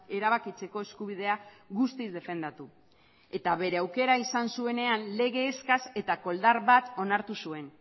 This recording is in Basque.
erabakitzeko eskubidea guztiz defendatu eta bere aukera izan zuenean legez eskas eta koldar bat onartu zuen